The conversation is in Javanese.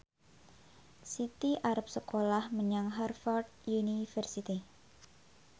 Siti arep sekolah menyang Harvard university